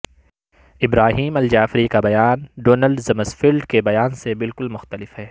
ابراہیم al-Jaafari کا بیان Donald Rumsfeld کے بیان سے بالکل مختلف ہے